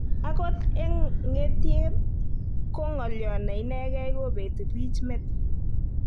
Agot eng ng'etiet, ko ng'olyo ne inegei kobeti bich met.